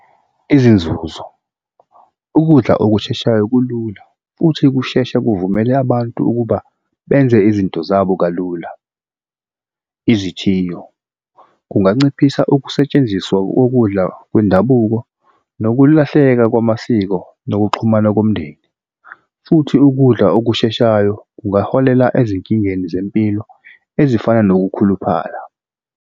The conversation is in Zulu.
Izinzuzo ukudla okusheshayo kulula futhi kusheshe kuvumele abantu ukuba benze izinto zabo kalula. Izithiyo kunganciphisa ukusetshenziswa kokudla kwendabuko nokulahleka kwamasiko nokuxhumana komndeni, futhi ukudla okusheshayo kungaholela ezinkingeni zempilo ezifana nokukhuluphala.